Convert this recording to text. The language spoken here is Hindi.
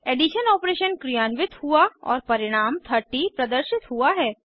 एडिशन ऑपरेशन क्रियान्वित हुआ और परिणाम 30 प्रदर्शित हुआ है